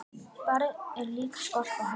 Barð er líka skorpa hörð.